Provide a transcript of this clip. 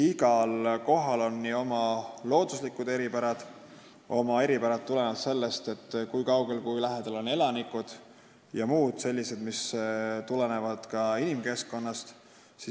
Igal kohal on oma looduslikud eripärad, eripärad, mis tulenevad sellest, kui kaugel või lähedal on elanikud, ja muud inimkeskkonna teguritest tulenevad eripärad.